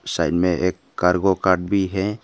Side में एक cargo का भी है।